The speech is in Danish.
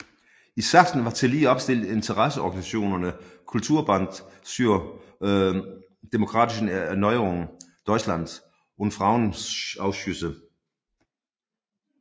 I Sachsen var tillige opstillet interesseorganisationerne Kulturbund zur demokratischen Erneuerung Deutschlands og Frauenausschüsse